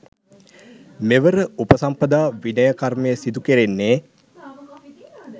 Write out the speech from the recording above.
මෙවර උපසම්පදා විනය කර්මය සිදු කෙරෙන්නේ